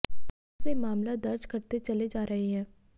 तहां से मामला दर्ज करते चले जा रहे हैं